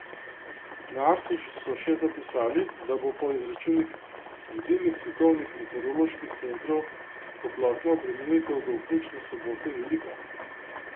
Na Arsu so še zapisali, da bo po izračunih vodilnih svetovnih meteoroloških centrov toplotna obremenitev do vključno sobote velika.